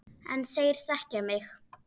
En þeir þekkja mig.